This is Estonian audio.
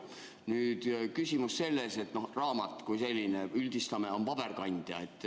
Nüüd on küsimus selles, et raamat kui selline, üldistame, on paberkandja.